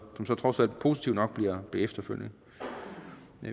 trods alt positivt nok bliver efterfølgende